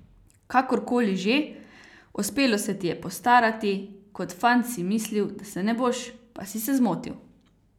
Kakor koli že, uspelo se ti je postarati, kot fant si mislil, da se ne boš, pa si se zmotil.